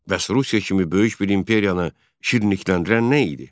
Bəs Rusiya kimi böyük bir imperiyanı şirnikləndirən nə idi?